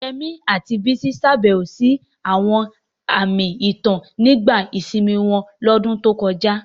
Yemi àti Bisi ṣàbẹ̀wò sí àwọn àmì ìtàn nígbà ìsinmi wọn lọ́dún tó kọjá.